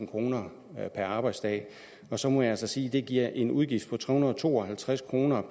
kroner per arbejdsdag og så må jeg sige at det giver en udgift på tre hundrede og to og halvtreds kroner